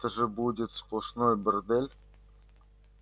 это же будет сплошной бордель